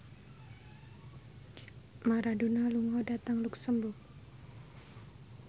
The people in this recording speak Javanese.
Maradona lunga dhateng luxemburg